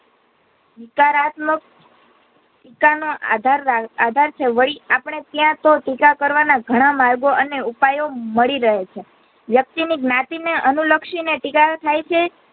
હકારાત્મક ટીકાનો આધાર આધાર છે વળી આપડે ત્યાં તો ટીકા કરવાના ઘણા માર્ગો અને ઉપાયો મળી રહે છે વયકતી ની જ્ઞાતિ ને અનુલક્ષી ને ટીકા થાઈ છે.